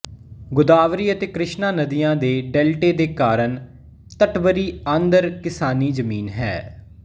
ਗੋਦਾਵਰੀ ਅਤੇ ਕ੍ਰਿਸ਼ਨਾ ਨਦੀਆਂ ਦੇ ਡੈਲਟੇ ਦੇ ਕਾਰਨ ਤਟਵਰੀ ਆਂਧਰ ਕਿਸਾਨੀ ਜ਼ਮੀਨ ਹੈ